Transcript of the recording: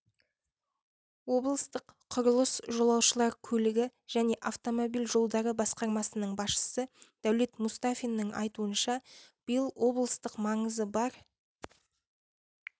облыстық құрылыс жолаушылар көлігі және автомобиль жолдары басқармасының басшысы дәулет мұстафиннің айтуынша биыл облыстық маңызы бар